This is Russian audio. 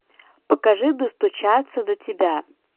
покажи достучаться до тебя